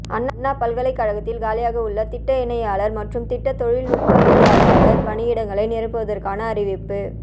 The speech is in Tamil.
அண்ணா பல்கலைக் கழகத்தில் காலியாக உள்ள திட்ட இணையாளர் மற்றும் திட்ட தொழில்நுட்பவியலாளர் பணியிடங்களை நிரப்புவதற்கான அறிவிப்பு